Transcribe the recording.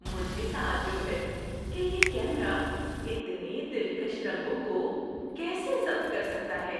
مجھے تعجب ہے کہ یہ کیمرا اتنے دلکش رنگوں کو کیسے ضبط کر سکتا ہے!